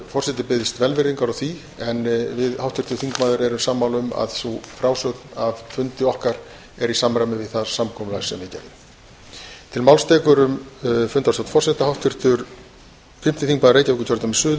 forseti biðst velvirðingar á því en við háttvirtur þingmaður erum sammála um að sú frásögn af fundi okkar er í samræmi við það samkomulag sem við gerðum